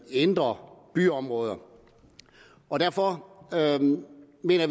indre byområder derfor